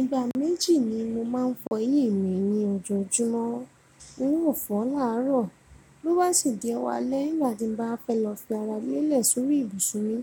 Ìgbà méjì ni mo máa ń fọ eyín mi ní ojoojúmọ́, irú òfó làárọ̀. Lówàsì dí ọ̀wálẹ́ ìgbà tí mo bá fẹ́ lọ fi ara mi lélẹ̀ sórí ibùsùn mi,